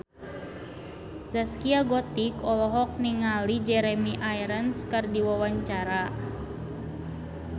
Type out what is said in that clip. Zaskia Gotik olohok ningali Jeremy Irons keur diwawancara